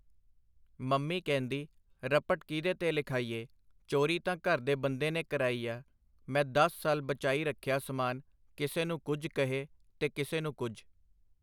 Mummy ਕਹਿੰਦੀ, ” ਰਪਟ ਕੀਹਦੇ ਤੇ ਲਿਖਾਈਏ ,ਚੋਰੀ ਤਾਂ ਘਰ ਦੇ ਬੰਦੇ ਨੇ ਕਰਾਈ ਆ? ਮੈਂ ਦਸ ਸਾਲ ਬਚਾਈ ਰੱਖਿਆ ਸਮਾਨ ਕਿਸੇ ਨੂੰ ਕੁੱਝ ਕਹਿ ਤੇ ਕਿਸੇ ਨੂੰ ਕੁੱਝ .